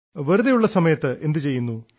വെറുതെയുള്ള സമയത്ത് എന്തു ചെയ്യുന്നു